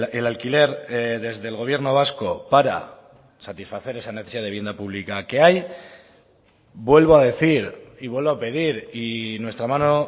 el alquiler desde el gobierno vasco para satisfacer esa necesidad de vivienda pública que hay vuelvo a decir y vuelvo a pedir y nuestra mano